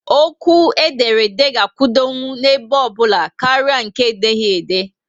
Okwu ederede ga akwudokwu n'ebe obula karịa nke edeghi ede